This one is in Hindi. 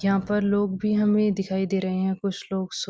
यहां पर लोग भी हमें दिखाई दे रहे हैं कुछ लोग सो --